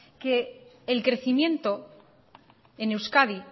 que el crecimiento en euskadi